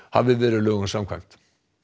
hafi verið lögum samkvæmt